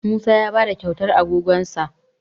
Musa ya ba da kyautar agogonsa